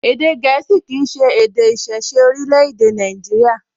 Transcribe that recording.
Èdè gẹ̀ẹ́sì kìí ṣe èdè ìṣiṣẹ́ orílẹ̀-èdè Nàìjíríyà